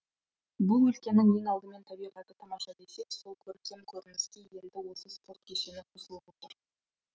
бұл өлкенің ең алдымен табиғаты тамаша десек сол көркем көрініске енді осы спорт кешені қосылып отыр